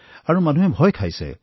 আৰু মানুহবোৰ অলপ ভয় খাইছে